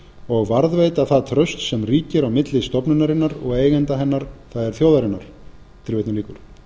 og varðveita það traust sem ríkir á milli stofnunarinnar og eigenda hennar það er þjóðarinnar